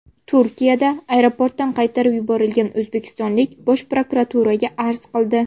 Turkiyada aeroportdan qaytarib yuborilgan o‘zbekistonlik Bosh prokuraturaga arz qildi .